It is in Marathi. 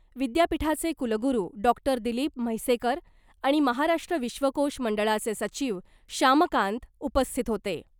विद्यापीठाचे कुलगुरू डॉक्टर दिलीप म्हैसेकर आणि महाराष्ट्र विश्वकोश मंडळाचे सचिव श्यामकांत उपस्थित होते .